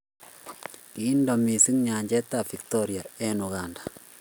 Kindo mising nyanjetab Victoria eng' Uganda.